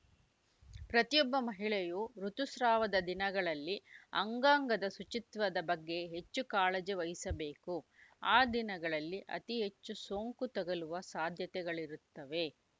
ಪ್ರತಿಯೊಬ್ಬ ಮಹಿಳೆಯೂ ಋುತುಸ್ರಾವದ ದಿನಗಳಲ್ಲಿ ಅಂಗಾಂಗದ ಶುಚಿತ್ವದ ಬಗ್ಗೆ ಹೆಚ್ಚು ಕಾಳಜಿ ವಹಿಸಬೇಕು ಆ ದಿನಗಳಲ್ಲಿ ಅತಿ ಹೆಚ್ಚು ಸೋಂಕು ತಗಲುವ ಸಾಧ್ಯತೆಗಳಿರುತ್ತವೆ